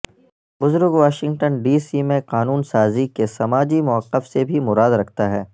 بزرگ Washington D C میں قانون سازی کے سماجی موقف سے بھی مراد رکھتا ہے